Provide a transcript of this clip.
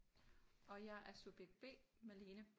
Og jeg er subjekt B Malene